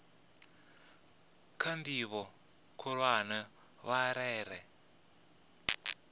kha ndivho khulwane vha rere